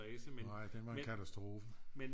Nej den var en katastrofe